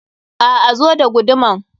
A'a, zo da guduman.